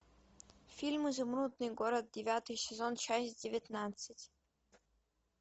фильм изумрудный город девятый сезон часть девятнадцать